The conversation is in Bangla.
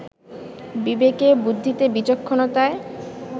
বিবেকে বুদ্ধিতে, বিচক্ষণতায়